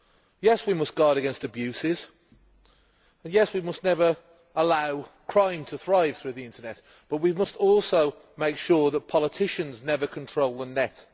Yes, we must guard against abuses and, yes, we must never allow crime to thrive through the internet, but we must also make sure that politicians never control the net.